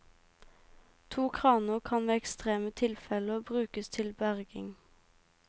To kraner kan ved ekstreme tilfeller brukes til berging.